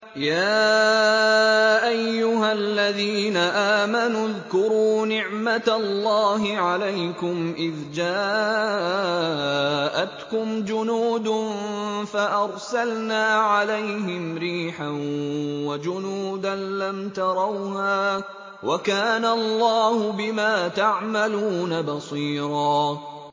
يَا أَيُّهَا الَّذِينَ آمَنُوا اذْكُرُوا نِعْمَةَ اللَّهِ عَلَيْكُمْ إِذْ جَاءَتْكُمْ جُنُودٌ فَأَرْسَلْنَا عَلَيْهِمْ رِيحًا وَجُنُودًا لَّمْ تَرَوْهَا ۚ وَكَانَ اللَّهُ بِمَا تَعْمَلُونَ بَصِيرًا